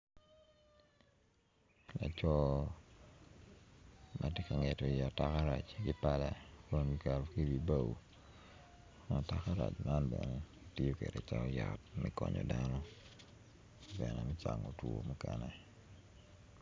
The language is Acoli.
laco ma tye ka ngeto iye takarac ki pala kun ki keto ki i wi bao atakarac man bene ki tiyo kede calo yat me konyo dano bene me cango two mukene